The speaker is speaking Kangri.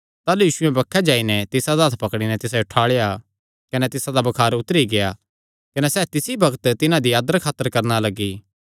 ताह़लू यीशुयैं बक्खे जाई नैं तिसादा हत्थ पकड़ी नैं तिसायो ठुआल़ेया कने तिसादा बुखार उतरी गेआ कने सैह़ तिसी बग्त तिसदी आदर खातर करणा लग्गी